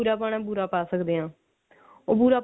ਜੇ ਬੂਰਾ ਪਾਣਾ ਤਾਂ ਬੂਰਾ ਪਾ ਸਕਦੇ ਹਾਂ ਉਹ ਬੂਰਾ